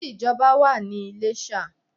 There is an express way in Ilesa